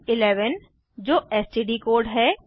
1 1 जो STD code है